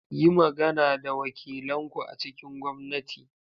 Yi magana da wakilan ku a cikin gwamnati.